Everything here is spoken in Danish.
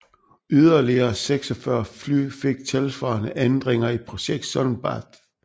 Yderligere 46 fly fik tilsvarende ændringer i projekt Sun Bath